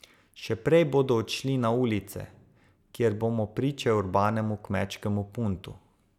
Še prej bodo odšli na ulice, kjer bomo priče urbanemu kmečkemu puntu.